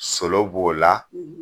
Solo b'o la